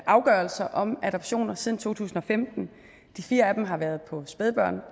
afgørelser om adoptioner siden to tusind og femten de fire af dem har været på spædbarn